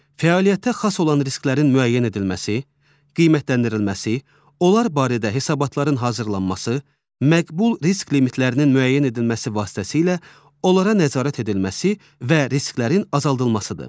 Fəaliyyətə xas olan risklərin müəyyən edilməsi, qiymətləndirilməsi, onlar barədə hesabatların hazırlanması, məqbul risk limitlərinin müəyyən edilməsi vasitəsilə onlara nəzarət edilməsi və risklərin azaldılmasıdır.